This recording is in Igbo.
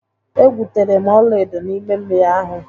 E gwutere m ọlaedo n'ime mmiri ahụ.